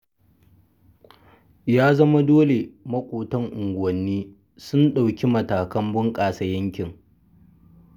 Ya zama dole maƙotan unguwanni sun ɗauki matakan bunƙasa yankin.